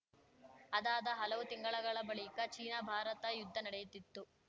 ಅದಾದ ಹಲವು ತಿಂಗಳುಗಳ ಬಳಿಕ ಚೀನಾಭಾರತ ಯುದ್ಧ ನಡೆಯುತ್ತಿತ್ತು